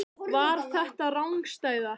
Var þetta rangstaða?